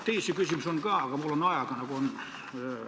Teisi küsimusi on ka, aga ajaga on, nagu on.